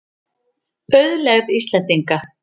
Auðlegð Íslendinga.